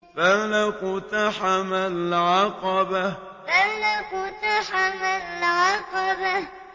فَلَا اقْتَحَمَ الْعَقَبَةَ فَلَا اقْتَحَمَ الْعَقَبَةَ